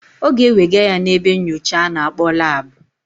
Ọ ga-ewega ya n'ebe nnyocha a na-akpọ lab.